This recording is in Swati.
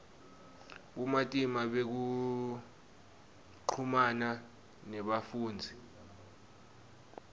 bumatima bekuchumana nebafundzisi